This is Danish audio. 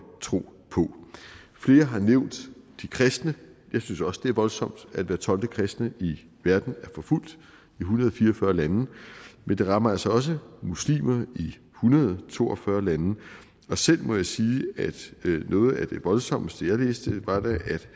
tro på flere har nævnt de kristne jeg synes også at det er voldsomt at hver tolvte kristne i verden er forfulgt i en hundrede og fire og fyrre lande men det rammer altså også muslimer i en hundrede og to og fyrre lande og selv må jeg sige at noget af det voldsomste jeg læste var at